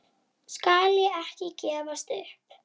Skal ekki gefast upp.